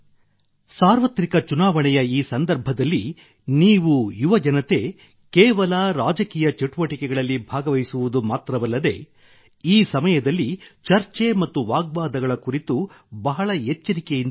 ಸಾರ್ವತ್ರಿಕ ಚುನಾವಣೆಯ ಈ ಸಂದರ್ಭದಲ್ಲಿ ನೀವು ಯುವಜನತೆ ಕೇವಲ ರಾಜಕೀಯ ಚಟುವಟಿಕೆಗಳ ಭಾಗವಾಗವಹಿಸುವುದು ಮಾತ್ರವಲ್ಲದೇ ಈ ಸಮಯದಲ್ಲಿ ಚರ್ಚೆ ಮತ್ತು ವಾಗ್ವಾದಗಳ ಕುರಿತು ಬಹಳ ಎಚ್ಚರಿಕೆಯಿಂದ ಇರಬೇಕು